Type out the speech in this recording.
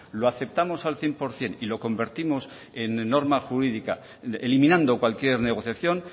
lo aceptamos al cien por ciento y lo convertimos en norma jurídica eliminando cualquier negociación